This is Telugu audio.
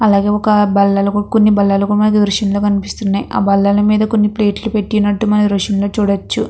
అలగే ఒక కొన్ని బల్లలు దృశ్యామ్ లో కనిపిస్తున్నాయి. ఆ బల్లలలు మీద కొన్ని ప్లేట్లు పెట్టినట్టు మనకి దృశ్యం లో కనిపిస్తున్నాయి.